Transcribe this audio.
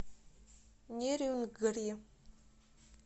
нерюнгри